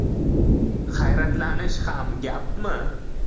“Hayratlanish ham gapmi!